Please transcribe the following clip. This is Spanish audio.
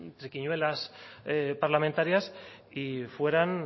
triquiñuelas parlamentarias y fueran